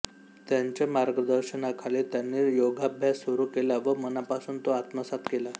त्यांच्या मार्गदर्शनाखाली त्यांनी योगाभ्यास सुरू केला व मनापासून तो आत्मसात केला